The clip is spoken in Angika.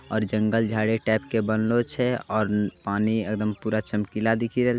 और जंगल-झाड़ी टाइप के बनलों छई। और पानी एकदम पूरा चमकीला दिखी रेल --